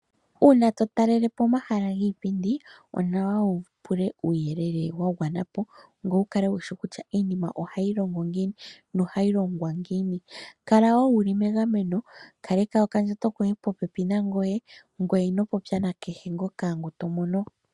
Uuna totalele po omahala giipindi, onawa wupule uuyelele wa gwana po, ngwe wukale wushi kutya iinima ohayi longo ngiini, nohayi longwa ngiini. Kala wo wuli megameno, kaleka okandjato koye popepi nangoye, ngwe inopopya nakehe ngoka tomono.